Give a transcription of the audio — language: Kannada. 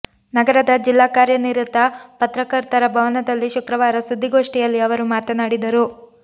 ನಗರದ ಜಿಲ್ಲಾ ಕಾರ್ಯನಿರತ ಪತ್ರ ಕರ್ತರ ಭವನದಲ್ಲಿ ಶುಕ್ರವಾರ ಸುದ್ದಿ ಗೋಷ್ಟಿಯಲ್ಲಿ ಅವರು ಮಾತನಾಡಿದರು